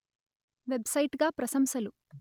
web site గా ప్రశంసలు